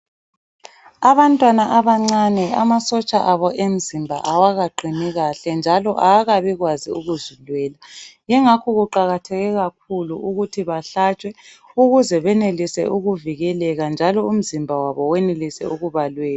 Abantwana abancane amasotsha abo emzimba awakaqini kahle njalo awakabikwazi ukuzilwela ingakho kuqakatheke kakhulu ukuthi bahlatshwe ukuze benelise ukuvikeleka njalo umzimba wabo wenelise ukubalwela.